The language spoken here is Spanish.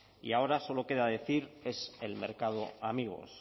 y ahora solo queda decir es el mercado amigos